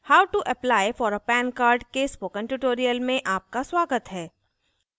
how to apply for a pan card के spoken tutorial में आपका स्वागत है